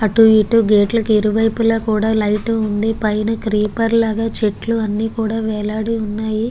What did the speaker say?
అటు ఇటు గేట్ కి ఇరువైపులా కూడ లైట్ వుంది పైన గ్రీపర్ లాగ చెట్లు అన్నీ వేలాడి ఉన్నాయి.